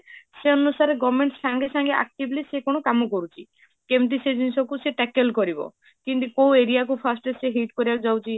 ସେଇ ଅନୁସାରେ government ସଙ୍ଗେ ସଙ୍ଗେ ସେ କଣ actively ସେ କଣ କାମ କରୁଛି, କେମିତି ସେଇ ଜିନିଷକୁ ସେ tackle କରିବ, କେମିତି କୋଉ area କୁ first ରେ ସେ hit କରିବାକୁ ଯାଉଛି